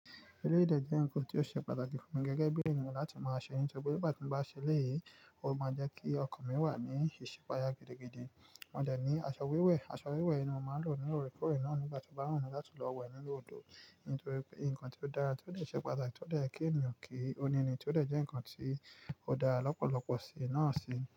Eléyìí dẹ̀ jẹ́ nǹkan tó ṣe pàtàkì fún mi gẹ́gẹ́ bí èèyàn láti máa ṣe nítorí pé nígbàtí mo bá ṣe eléyìí, ó máa jẹ́ kí ọkàn mi wà ní ìṣípayà gidigidi. Mo dẹ̀ ní aṣọ wíwẹ̀, aṣọ wíwẹ̀ yí ni mo máa lò nínú òòrèkóòrè náà nígbà tó bá wún mi láti lọ wẹ̀ nínú odò nítorí pé ìkan tí ó dára tí ó dẹ̀ ṣe pàtàkì tí ó dẹ̀ yẹ kí ènìyàn kí ó ní ni tí ó dẹ̀ jẹ́ ǹkan tí ó dára lọ́pọ̀lọpọ̀ sí náà sì.